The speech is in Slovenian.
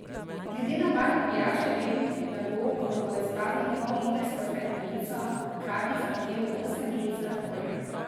Glede na barvo pijače vem, da bo, ko bo izpraznil pollitrsko steklenico, hkrati zaužil osem žlic sladkorja.